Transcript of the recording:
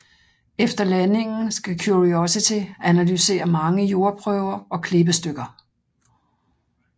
Efter landingen skal Curiosity analysere mange jordprøver og klippestykker